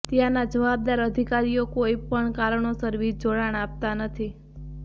ત્યાંના જવાબદાર અધિકારીઓ કોઈ પણ કારણોસર વીજ જોડાણ આપતા નથી